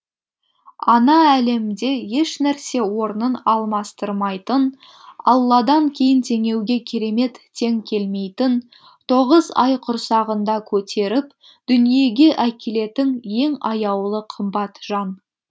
ана әлемде ешнәрсе орнын алмастырмайтын алладан кейін теңеуге керемет тең келмейтін тоғыз ай құрсағында көтеріп дүниеге әкелетін ең аяулы қымбат жан